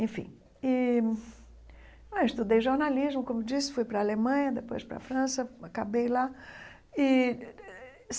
Enfim, e ah eu estudei jornalismo, como disse, fui para a Alemanha, depois para a França, acabei lá e.